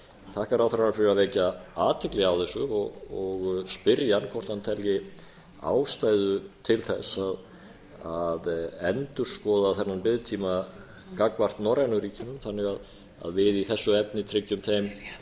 þakka ráðherranum fyrir að vekja athygli á þessu og spyrja hann hvort hann telji ástæðu til þess að endurskoða þennan biðtíma gagnvart norrænu ríkjunum þannig að við í þessu efni tryggjum þeim